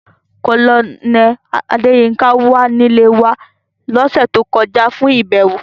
Colonel Adeyinka wa ni ile wa ni ọsẹ to kọja fun ibẹwo.